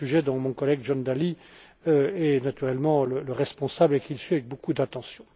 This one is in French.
C'est un sujet dont mon collègue, John Dalli, est naturellement responsable et qu'il suit avec beaucoup d'attention.